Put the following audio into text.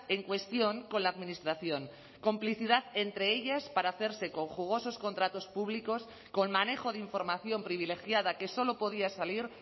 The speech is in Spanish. en cuestión con la administración complicidad entre ellas para hacerse con jugosos contratos públicos con manejo de información privilegiada que solo podía salir